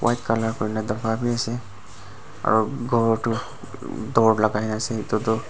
white color kurina daba b ase aro ghor toh door lagai na ase etu toh.